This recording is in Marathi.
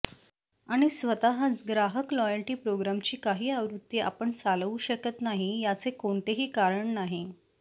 आणि स्वतःच ग्राहक लॉयल्टी प्रोग्रामची काही आवृत्ती आपण चालवू शकत नाही याचे कोणतेही कारण नाही